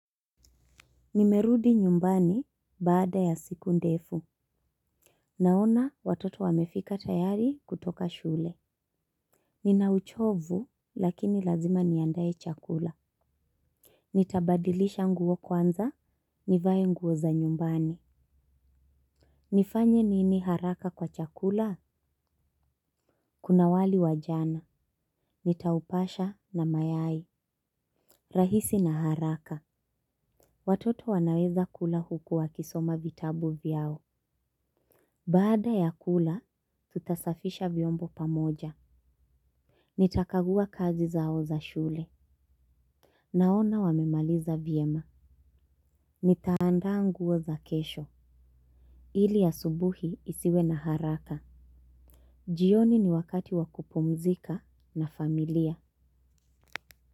Nimerudi nyumbani baada ya siku ndefu. Naona watoto wamefika tayari kutoka shule. Ninauchovu lakini lazima niandaye chakula. Nitabadilisha nguo kwanza, nivae nguo za nyumbani. Nifanye nini haraka kwa chakula? Kuna wali wa jana. Nitaupasha na mayai. Rahisi na haraka. Watoto wanaweza kula huku wakisoma vitabu vyao. Baada ya kula, tutasafisha vyombo pamoja. Nitakagua kazi zao za shule. Naona wamemaliza vyema. Nitaanda nguo za kesho. Ili asubuhi isiwe na haraka. Jioni ni wakati wa kupumzika na familia.